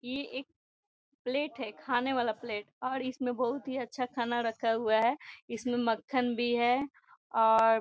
इ एक प्लेट है खाने वाला प्लेट और इसमें बहुत ही अच्छा खाना रखा हुआ है इसमें मक्खन भी है और --